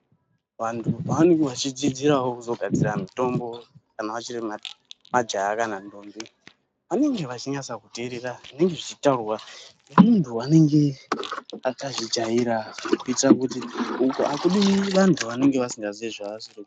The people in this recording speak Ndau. Vanthu pavanenge vachidzidzirawo kuzogadzira mutombo kana vachiri majaya kana ndombi vanenge vachinyatsakuteerera zvinenge zvichitaurwa nemynthu unenge akazvijaira kuitira kuti uku akudiwi vanthu vasikazii vavasiri ku...